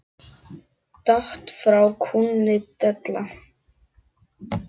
Datt frá kúnni della.